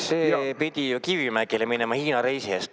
See pidi ju Kivimägile minema Hiina reisi eest.